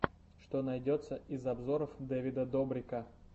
что найдется из обзоров дэвида добрика